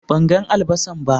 Ban gan albasan ba.